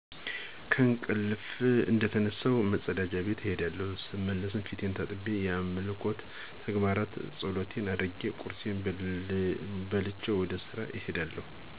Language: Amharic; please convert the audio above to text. ከእንቀልፊ እንደተነሳሁ መጸዳጃ ቤት እሄዳለሁ ስመለስ ፊቴን ታጥቤ የአምልኮ ተግባር ማለት ጸሎት አድርጌ ቁርሴን በልቸወደ ስራ እሄዳለሁ።